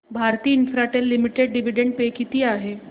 Bharti Infratel limited dividend pay किती आहे